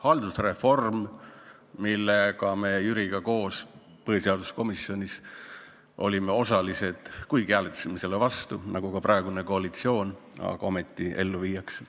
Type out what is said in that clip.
Haldusreform, milles me olime koos Jüriga põhiseaduskomisjonis osalised, kuigi hääletasime selle vastu nagu ka praegune koalitsioon, viiakse ometi ellu.